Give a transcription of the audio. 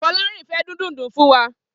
Folarin fè din dúùndù fún wà